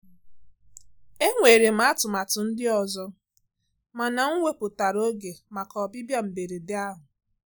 Enwere m atụmatụ ndị ọzọ, mana m wepụtara oge maka ọbịbịa mberede ahụ.